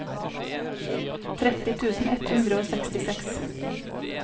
tretti tusen ett hundre og sekstiseks